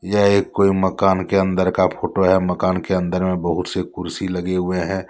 यह एक कोई मकान के अंदर का फोटो है मकान के अंदर में बहुत से कुर्सी लगे हुए हैं।